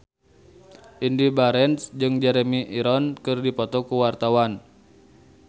Indy Barens jeung Jeremy Irons keur dipoto ku wartawan